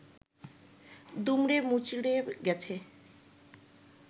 দুমড়ে মুচড়ে গেছে